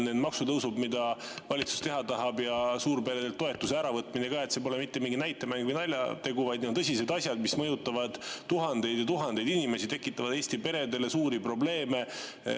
Need maksutõusud, mida valitsus teha tahab, ja suurperedelt toetuse äravõtmine ka – see pole mitte mingi näitemäng ega naljategu, vaid need on tõsised asjad, mis mõjutavad tuhandeid ja tuhandeid inimesi, tekitavad Eesti peredele suuri probleeme.